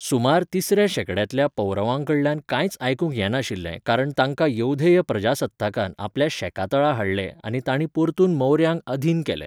सुमार तिसऱ्या शेंकड्यांतल्या पौरवांकडल्यान कांयच आयकूंक येनाशिल्लें कारण तांकां यौधेय प्रजासत्ताकान आपल्या शेकातळा हाडले आनी तांणी परतून मौर्यांक अधीन केलें.